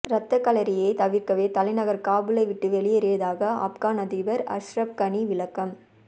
ரத்த களரியை தவிர்க்கவே தலைநகர் காபூலை விட்டு வெளியேறியதாக ஆப்கன் அதிபர் அஷ்ரப் கனி விளக்கம்